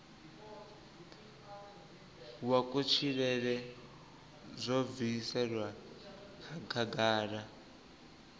wa kutshilele zwo bviselwa khagala